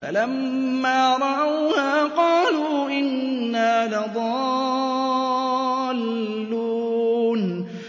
فَلَمَّا رَأَوْهَا قَالُوا إِنَّا لَضَالُّونَ